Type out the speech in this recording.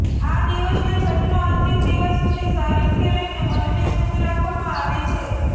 આ દિવસને છઠ્ઠનો અંતિમ દિવસ સુધી શરીરથી લઈને મનને શુદ્ધ રાખવામાં આવે છે